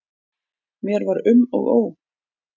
Mér var um og ó.